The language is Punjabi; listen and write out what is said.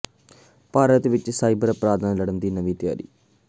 ਭਾਰਤ ਵਿੱਚ ਸਾਈਬਰ ਅਪਰਾਧ ਨਾਲ ਲੜਨ ਲਈ ਨਵੀਂ ਤਿਆਰੀ